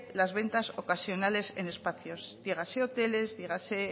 las ventas ocasionales en espacios dígase hoteles dígase